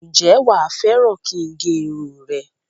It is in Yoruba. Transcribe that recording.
Ǹjẹ́ wá fẹ́ràn kin gé irun rẹ?